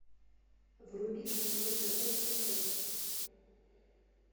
вруби шансон тв на смотрешке